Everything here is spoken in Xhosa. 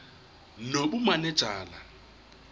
nobumanejala